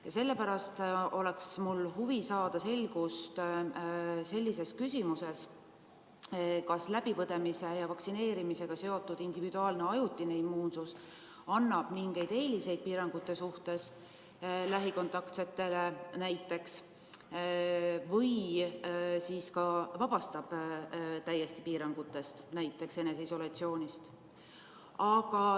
Ja sellepärast on mul huvi saada selgust küsimuses, kas läbipõdemise ja vaktsineerimisega seotud individuaalne ajutine immuunsus annab mingeid eeliseid piirangute suhtes, lähikontaktsetele näiteks, või siis vabastab see täiesti piirangutest, näiteks eneseisolatsioonist.